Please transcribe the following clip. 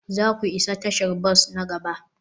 za ku isa tashar bas na gaba?